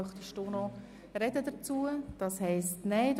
Möchten Sie sich noch dazu äussern?